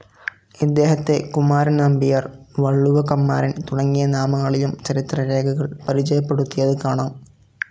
ഇദ്ദേഹത്തെ കുമാരൻ നമ്പ്യാർ, വളളുവ കമ്മാരൻ തുടങ്ങിയ നാമങ്ങളിലും ചരിത്ര രേഖകൾ പരിചയപ്പെടുത്തിയത്‌ കാണാം.